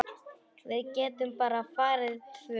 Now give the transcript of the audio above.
Við getum bara farið tvö.